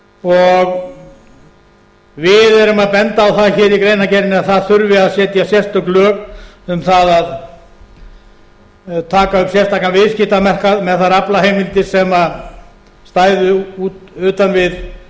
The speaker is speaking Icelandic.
og við erum að benda á það í greinargerðinni að setja þurfi sérstök lög um það að taka upp sérstakan viðskiptamarkað með þær aflaheimildir sem stæðu utan við